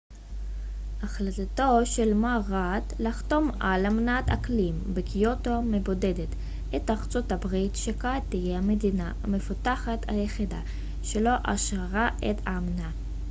החלטתו של מר ראד לחתום על אמנת האקלים בקיוטו מבודדת את ארצות הברית שכעת תהיה המדינה המפותחת היחידה שלא אשררה את האמנה